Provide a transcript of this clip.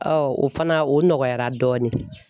o fana o nɔgɔyara dɔɔni.